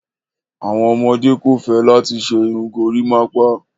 Awọn ọmọde kò fẹ́ látì ṣè irùn górimápá.